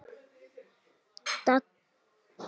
Dadda systir saknar og kveður.